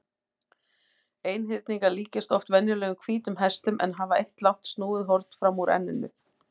Einhyrningar líkjast oft venjulegum hvítum hestum en hafa eitt langt snúið horn fram úr enninu.